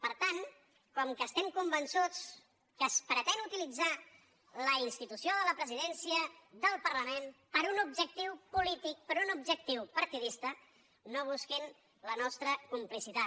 per tant com que estem convençuts que es pretén uti·litzar la institució de la presidència del parlament per a un objectiu polític per a un objectiu partidista no busquin la nostra complicitat